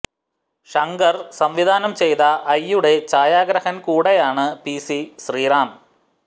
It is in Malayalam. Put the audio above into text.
ശങ്കര് സംവിധാനം ചെയ്ത ഐ യുടെ ഛായാഗ്രാഹകന് കൂടെയാണ് പി സി ശ്രീറാം